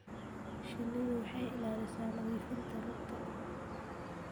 Shinnidu waxay ilaalisaa nadiifinta rugta.